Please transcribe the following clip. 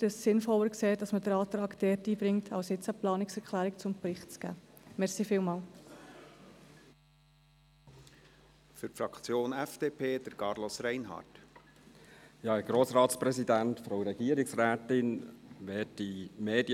Wir finden es sinnvoller, den Antrag dort einzubringen, anstatt jetzt eine Planungserklärung zum Bericht einzugeben.